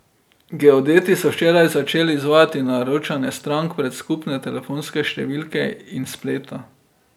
Geodeti so včeraj začeli izvajati naročanje strank prek skupne telefonske številke in spleta.